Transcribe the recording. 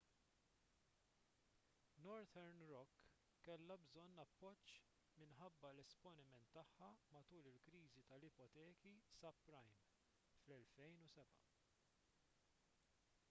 northern rock kellha bżonn appoġġ minħabba l-esponiment tagħha matul il-kriżi tal-ipoteki subprime fl-2007